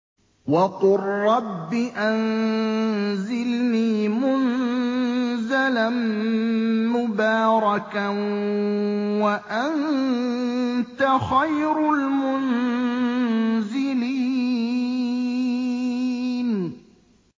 وَقُل رَّبِّ أَنزِلْنِي مُنزَلًا مُّبَارَكًا وَأَنتَ خَيْرُ الْمُنزِلِينَ